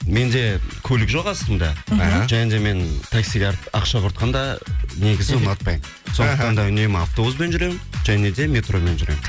менде көлік жоқ астымда және де мен таксиге ақша құртқанды негізі ұнатпаймын сондықтан да үнемі автобуспен жүремін және де метромен жүремін